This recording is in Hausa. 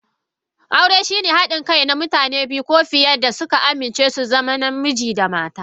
Aure shine haɗin kai na mutane biyu ko fiye da suka amince su zama Namiji da mata.